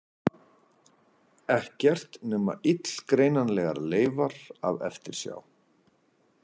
Ekkert nema illgreinanlegar leifar af eftirsjá.